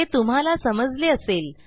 हे तुम्हाला समजले असेल